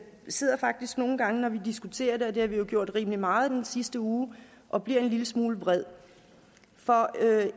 sidder faktisk nogle gange når vi diskuterer det og det har vi jo gjort rimelig meget i den sidste uge og bliver en lille smule vred for